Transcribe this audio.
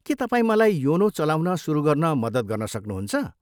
के तपाईँ मलाई योनो चलाउन सुरु गर्न मद्दत गर्न सक्नुहुन्छ?